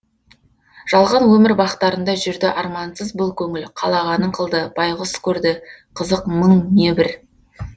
жалған өмір бақтарында жүрді армансыз бұл көңіл қалағанын қылды байғұс көрді қызық мың небір